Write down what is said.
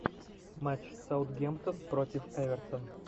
матч саутгемптон против эвертон